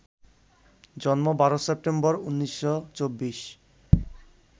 জন্ম ১২ সেপ্টেম্বর ১৯২৪